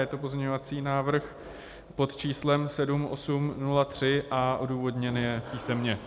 Je to pozměňovací návrh pod číslem 7803 a odůvodněn je písemně.